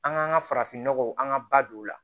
An k'an ka farafinnɔgɔw an ka ba don o la